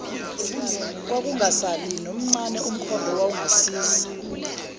kwakungasali nomncane umkhondoowawungasiza